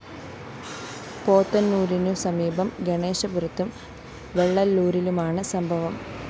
പോത്തന്നൂരിനു സമീപം ഗണേഷപുരത്തും വെള്ളല്ലൂരിലുമാണ് സംഭവം